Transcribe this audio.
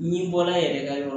N'i bɔra yɛrɛ ka yɔrɔ